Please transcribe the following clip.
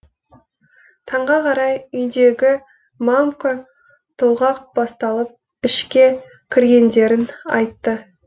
таңға қарай үйдегі мамка толғақ басталып ішке кіргендерін айтты